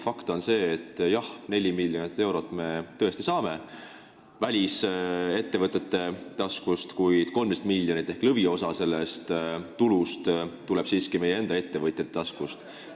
Fakt on see, et me tõesti saame 4 miljonit eurot välisettevõtete taskust, kuid 13 miljonit ehk lõviosa sellest tulust tuleb siiski meie enda ettevõtjate taskust.